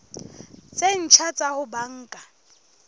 tse ntjha tsa ho banka